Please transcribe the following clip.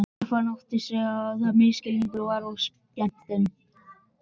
Stefán áttaði sig á misskilningnum og var skemmt.